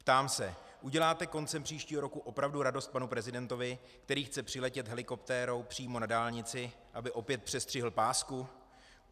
Ptám se: Uděláte koncem příštího roku opravdu radost panu prezidentovi, který chce přiletět helikoptérou přímo na dálnici, aby opět přestřihl pásku?